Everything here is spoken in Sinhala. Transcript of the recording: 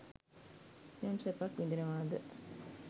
යම් සැපක් විඳිනවාද